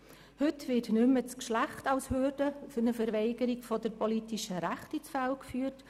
Heute wird nicht mehr das Geschlecht als Hürde für eine Verweigerung der politischen Rechte ins Feld geführt.